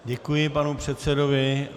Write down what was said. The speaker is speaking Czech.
Děkuji panu předsedovi.